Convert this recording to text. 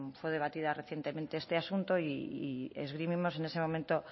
fue debatido recientemente este asunto y esgrimimos en ese momento